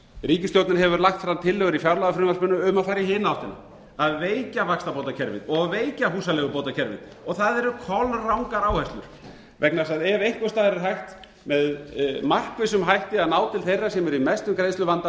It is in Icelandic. ríkisstjórnin hefur lagt fram tillögur í fjárlagafrumvarpinu um að fara í hina áttina að veikja vaxtabótakerfið og veikja húsaleigubótakerfið það eru kolrangar áherslur vegna þess að ef einhvers staðar er hægt með markvissum hætti að ná til þeirra sem eru í mestum